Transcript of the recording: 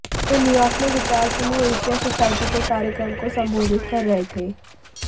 वे New York में विचार समूह एशिया सोसायटी के कार्यक्रम को संबोधित कर रहे थे